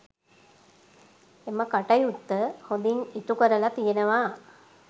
එම කටයුත්ත හොඳින් ඉටු කරලා තියෙනවා